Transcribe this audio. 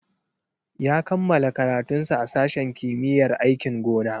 Ya kammala karatunsa a sashen kimiyyar aikin gona.